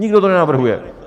Nikdo to nenavrhuje!